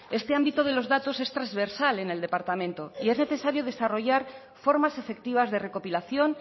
este ámbito de los datos es transversal en el departamento y es necesario desarrollar formas efectivas de recopilación